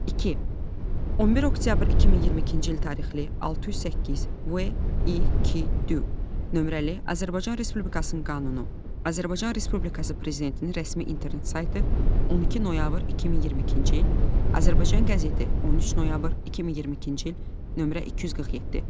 İki. 11 oktyabr 2022-ci il tarixli, 608, VİQD nömrəli Azərbaycan Respublikasının qanunu, Azərbaycan Respublikası Prezidentinin rəsmi internet saytı, 12 noyabr 2022-ci il, Azərbaycan qəzeti, 13 noyabr 2022-ci il, nömrə 247.